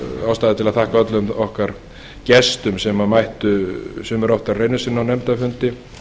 ástæða til að þakka öllum okkar gestum sem mættu sumir oftar en einu sinni á nefndarfundi